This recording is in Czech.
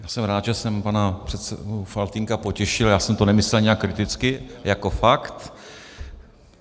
Já jsem rád, že jsem pana předsedu Faltýnka potěšil, já jsem to nemyslel nijak kriticky, jako fakt.